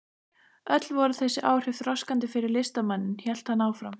Öll voru þessi áhrif þroskandi fyrir listamanninn hélt hann áfram.